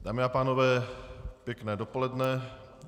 Dámy a pánové, pěkné dopoledne.